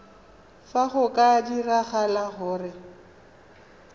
fa go ka diragala gore